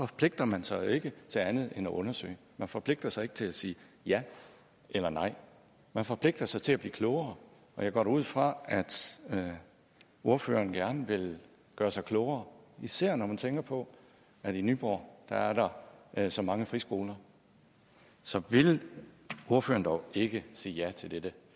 forpligter man sig jo ikke til andet end at undersøge man forpligter sig ikke til at sige ja eller nej man forpligter sig til at blive klogere og jeg går da ud fra at ordføreren gerne vil gøre sig klogere især når man tænker på at i nyborg er der så mange friskoler så ville ordføreren dog ikke sige ja til dette